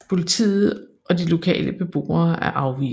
Politiet og de lokale beboere er afvisende